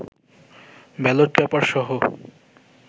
ballot পেপারসহ